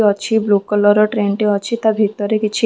ଅଛି blue colour ର train ଟେ ଅଛି ତା ଭିତରେ କିଛି ।